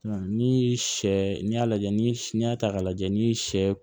ni sɛ n'i y'a lajɛ ni y'a ta k'a lajɛ n'i ye sɛ